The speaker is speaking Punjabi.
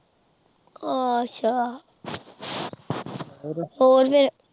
ਅੱਛਾ ਹੋਰ ਫਿਰ।